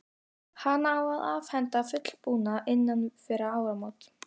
Hana á að afhenda fullbúna innan fárra mánaða.